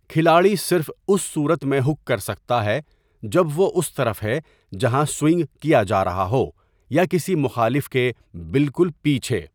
کھلاڑی صرف اس صورت میں ہک کر سکتا ہے جب وہ اس طرف ہے جہاں سوئنگ کیا جا رہا ہو یا کسی مخالف کے بالکل پیچھے۔